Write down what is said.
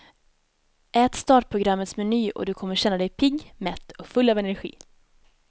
Ät startprogrammets meny och du kommer känna dig pigg, mätt och full av energi.